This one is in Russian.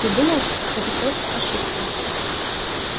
я думал что ты просто ошибся